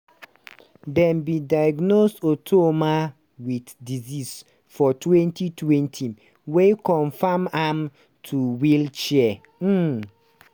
dem bin diagnose otuoma wit di disease for 2020 wey confam am to wheelchair. um